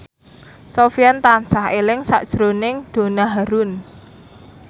Sofyan tansah eling sakjroning Donna Harun